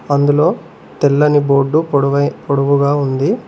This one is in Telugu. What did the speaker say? అందులో తెల్లని బోర్డు పొడవైన పొడవుగా ఉంది.